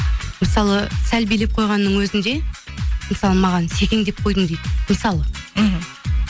мысалы сәл билеп қойғанның өзінде мысалы маған секеңдеп қойдың дейді мысалы мхм